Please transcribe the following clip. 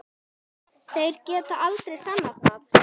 Þeir geta aldrei sannað það!